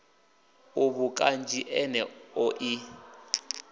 uvhu kanzhi fulo ḽeneḽo ḽi